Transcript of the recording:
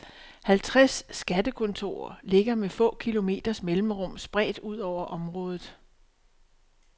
Halvtreds skattekontorer ligger med få kilometers mellemrum spredt ud over området.